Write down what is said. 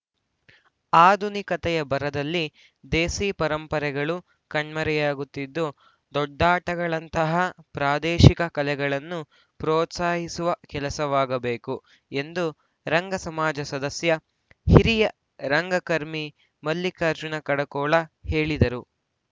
ಆಧುನಿಕತೆಯ ಭರದಲ್ಲಿ ದೇಸೀ ಪರಂಪರೆಗಳು ಕಣ್ಮರೆಯಾಗುತ್ತಿದ್ದು ದೊಡ್ಡಾಟಗಳಂತಹ ಪ್ರಾದೇಶಿಕ ಕಲೆಗಳನ್ನು ಪ್ರೋತ್ಸಾಹಿಸುವ ಕೆಲಸವಾಗಬೇಕು ಎಂದು ರಂಗ ಸಮಾಜ ಸದಸ್ಯ ಹಿರಿಯ ರಂಗಕರ್ಮಿ ಮಲ್ಲಿಕಾರ್ಜುನ ಕಡಕೋಳ ಹೇಳಿದರು